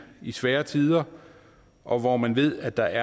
i svære tider og hvor man ved at der